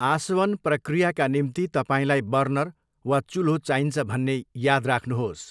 आसवन प्रक्रियाका निम्ति तपाईँलाई बर्नर वा चुल्हो चाहिन्छ भन्ने याद राख्नुहोस्।